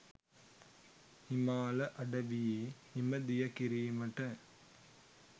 හිමාල අඩවියේ හිම දිය කිරීමට